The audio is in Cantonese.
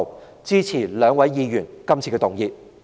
我支持兩位議員今次的議案。